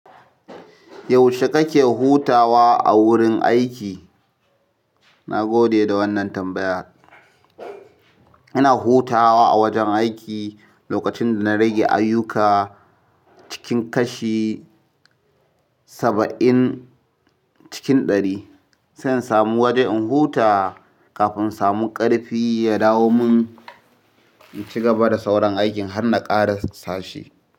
Yaushe kake hutawa a wurin aiki? Nagode da wannan tambaya ina hutawa a wajen aiki lokacin da rage ayyuka cikin kashi saba'in cikin ɗari. Zan samu waje in huta kafin samu ƙarfi ya dawo mun in ci gaba da sauran aikin har na ƙara sashe.